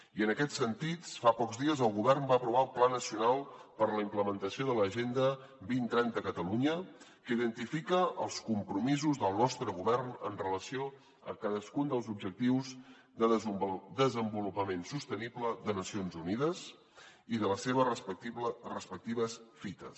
i en aquest sentit fa pocs dies el govern va aprovar el pla nacional per a la implementació de l’agenda dos mil trenta a catalunya que identifica els compromisos del nostre govern amb relació a cadascun dels objectius de desenvolupament sostenible de nacions unides i de les seves respectives fites